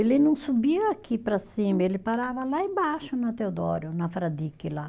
Ele não subia aqui para cima, ele parava lá embaixo na Teodório, na Fradique lá.